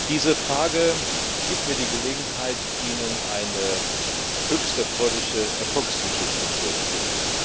Die Frage gibt mir die Gelegenheit, Ihnen eine höchst erfreuliche Erfolgsgeschichte zu erzählen.